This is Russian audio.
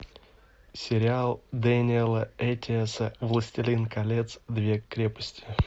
сериал дэниэла эттиэса властелин колец две крепости